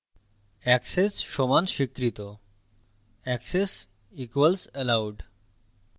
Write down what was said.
access সমান স্বীকৃত access equals allowed